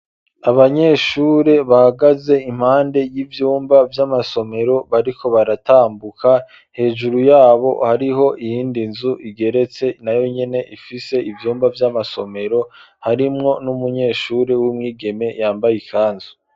Abanyeshure, bahagaze impande y'ivyumba, vy'amasomero, bariko baratambuka; hejuru y'abo, hariho iyindi nzu, igeretse, nayo nyene, ifise ivyumba vy'amasomero; harimwo n'umunyeshure w'umwigeme, yambaye ikanzu.